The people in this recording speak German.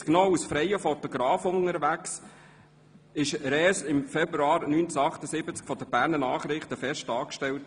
1977 noch als freier Fotograf unterwegs, wurde Res im Februar 1978 von den «Berner Nachrichten BN» fest angestellt.